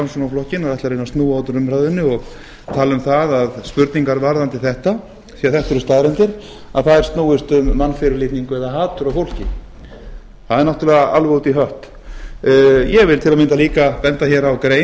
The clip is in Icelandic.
framsóknarflokkinn að ætla að reyna að snúa út úr umræðunni og tala um spurningar varðandi þetta því þetta eru staðreyndir að þær snúist um mannfyrirlitningu eða hatur á fólki það er náttúrlega alveg út í hött ég vil til að mynda líka benda á grein